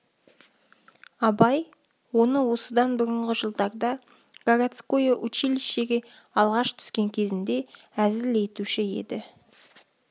абай оны осыдан бұрынғы жылдарда городское училищеге алғаш түскен кезінде әзіл етуші еді